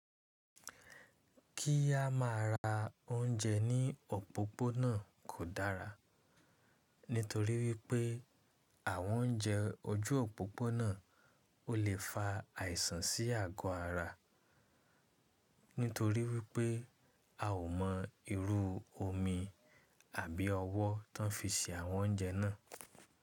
Kí á má a ra oúnjẹ ní òpópónà kò dára nítorí wípé àwọn oúnjẹ ojú òpópónà o le fa àìsàn sí àgọ ara nítorí wípé a o mọ irú omi àbí ọwọ́ tan fi se àwọn oúnjẹ náà.